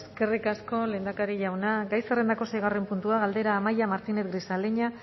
eskerrik asko lehendakari jauna gai zerrendako seigarren puntua galdera amaia martínez grisaleña